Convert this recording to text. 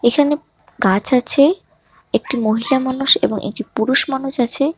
এখানে গাছ আছে একটি মহিলা মানুষ এবং একটি পুরুষ মানুষ আছে।